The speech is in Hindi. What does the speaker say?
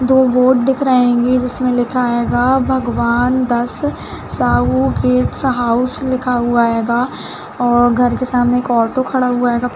दो बोर्ड दिख रहे हेंगे जिसमें लिखा हेगा भगवान् दास साहू गेस्ट हाउस लिखा हुआ हैगा और घर के सामने एक ऑटो खड़ा हुआ हैगा।